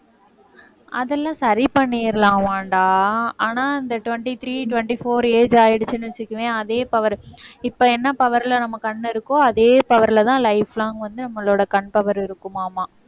அதெல்லாம் சரி பண்ணிரலாமான்டா. ஆனா இந்த twenty-three twenty-four age ஆயிடுச்சுன்னு வச்சுக்கவேன் அதே power இப்ப என்ன power ல நம்ம கண் இருக்கோ அதே power லதான் life long வந்து நம்மளோட கண்பவர் இருக்குமாமா.